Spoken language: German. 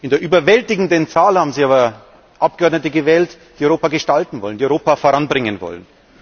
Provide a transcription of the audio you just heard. In der überwältigenden Zahl haben sie aber Abgeordnete gewählt, die Europa gestalten wollen, die Europa voranbringen wollen.